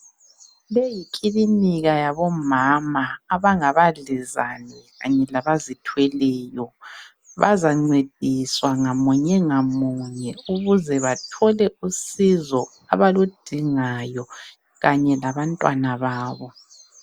Le yikilinika yabomama abangabadlezane Kanye labazithweleyo. Bazancediswa munye ngamunye ukuze bathole usizo abaludingayo kanye labantwana babo.